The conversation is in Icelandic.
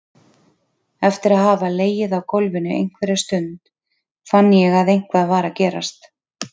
Eftir að hafa legið í gólfinu einhverja stund fann ég að eitthvað var að gerast.